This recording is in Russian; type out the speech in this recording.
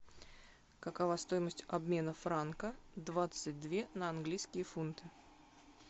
какова стоимость обмена франка двадцать две на английские фунты